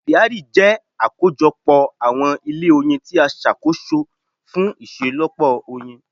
Apiari jẹ́ àkójọ pọ àwọn ilé oyin tí a ṣàkóso fún iṣelọpọ oyin.